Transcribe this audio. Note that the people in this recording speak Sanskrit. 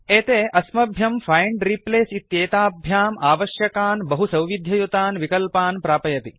एते अस्म्यभ्यम् फैंड् रिप्लेस् इत्येताभ्याम् आवश्यकान् बहुसौविध्ययुतान् विकल्पान् प्रापयति